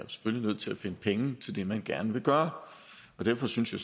nødt til at finde penge til det man gerne vil gøre og derfor synes jeg